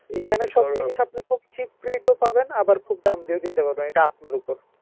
এখানে আপনি খুব cheap rate এও পাবেন আবার খুব দাম দিয়েও কিনতে পারবেন এটা আপনার উপর